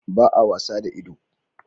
Ba a wasa da ido